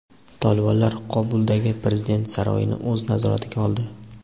Tolibonlar Qobuldagi prezident saroyini o‘z nazoratiga oldi.